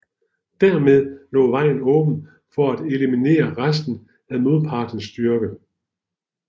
Dermed lå vejen åben for at eliminere resten af modpartens styrke